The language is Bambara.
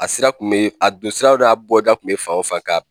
A sira kun bɛ a don siraw n'a bɔda kun bɛ fan o fan ka